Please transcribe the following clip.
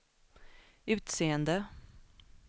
utseende